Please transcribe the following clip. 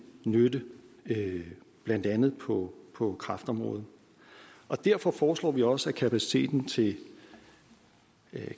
nytte blandt andet på på kræftområdet derfor foreslår vi også at kapaciteten til